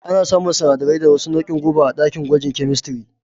Ana samun sanadarai da wasu nauin guba a ɗakin gwaji kyemistiri